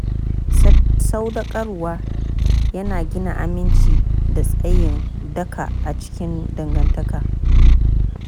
Sadaukarwa yana gina aminci da tsayin daka a cikin dangantaka.